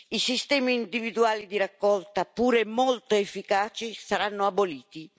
I sistemi individuali di raccolta, seppure molto efficaci, saranno aboliti.